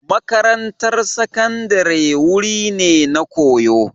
Makarantar Sakandare wuri ne na koyo